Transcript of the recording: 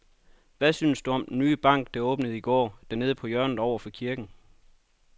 Hvad synes du om den nye bank, der åbnede i går dernede på hjørnet over for kirken?